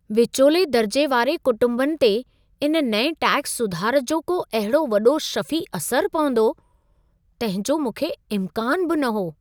विचोले-दर्जे वारे कुंटुंबनि ते इन नएं टैक्स सुधार जो को अहिड़ो वॾो शफ़ी असरु पवंदो, तंहिंजो मूंखे इम्कानु बि न हो।